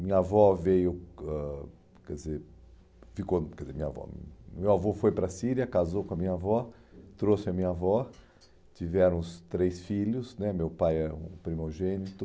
Minha avó veio, ãh quer dizer, ficou, quer dizer, minha avó, meu avô foi para a Síria, casou com a minha avó, trouxe a minha avó, tiveram os três filhos né, meu pai é um primogênito,